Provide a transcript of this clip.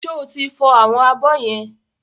Ṣẹ́ o ti fọ àwọn abọ́ yẹn?